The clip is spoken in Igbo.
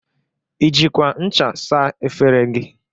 I jikwa ncha saa efere gị?